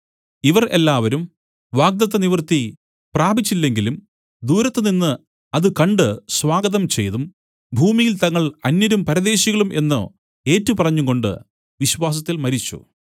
ഇവർ എല്ലാവരും വാഗ്ദത്ത നിവൃത്തി പ്രാപിച്ചില്ലെങ്കിലും ദൂരത്തുനിന്ന് അത് കണ്ട് സ്വാഗതം ചെയ്തും ഭൂമിയിൽ തങ്ങൾ അന്യരും പരദേശികളും എന്നു ഏറ്റുപറഞ്ഞും കൊണ്ട് വിശ്വാസത്തിൽ മരിച്ചു